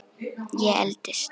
Ég eldist.